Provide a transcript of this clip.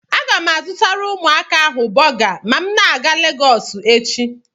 Aga m azụtara ụmụaka ahụ bọga na m ga Legọsụ echi.